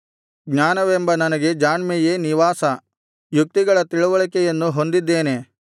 ಜ್ಞಾನವೆಂಬ ನನಗೆ ಜಾಣ್ಮೆಯೇ ನಿವಾಸ ಯುಕ್ತಿಗಳ ತಿಳಿವಳಿಕೆಯನ್ನು ಹೊಂದಿದ್ದೇನೆ